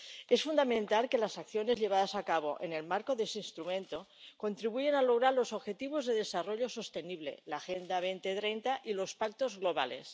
Es fundamental que las acciones llevadas a cabo en el marco de ese instrumento contribuyan a lograr los objetivos de desarrollo sostenible, la Agenda 2030 y los pactos mundiales.